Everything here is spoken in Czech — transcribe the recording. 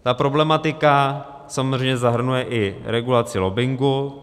Ta problematika samozřejmě zahrnuje i regulaci lobbingu.